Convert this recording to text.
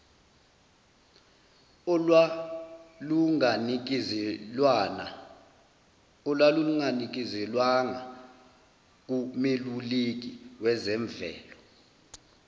olwalunganikezelwanga kumeluleki wezemvelo